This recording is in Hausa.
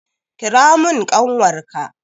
Kira mun ƙanwar ka!